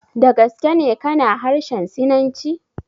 Da gaske ne ka na harshen Sinanci?